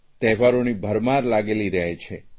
તહેવારોની ભરમાર લાગેલી રહે છે